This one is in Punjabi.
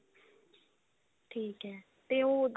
ਠੀਕ ਹੈ ਤੇ ਉਹ